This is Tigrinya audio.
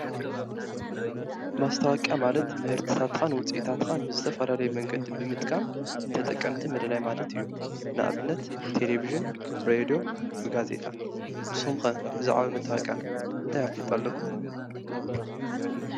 ማስታወቅያ ማለት ምህርትታትኻን ውፅ ኢታትኻን ብዝተፈላለይ መንገዲ ብምጥቃም ንተ ጠቀምቲ ምልላይ ማለት እዩ። ንእብነት ብቴሌብዥን፣ ብ ሬይድዮ፣ ብጋዜጣ ንስኩም ኸ ብዛዕባ ማስታወቅያ እንታይ ኣፍልጡ ኣለኩም?